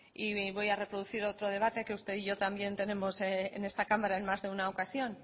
y voy a reproducir otro debate que usted y yo también tenemos en esta cámara en más de una ocasión